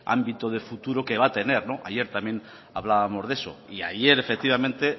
ámbito de futuro que va a tener ayer también hablábamos de eso y ayer efectivamente